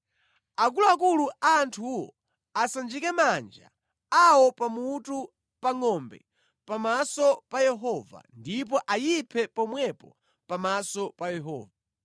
Akuluakulu a anthuwo asanjike manja awo pa mutu pa ngʼombe pamaso pa Yehova, ndipo ayiphe pomwepo pamaso pa Yehova.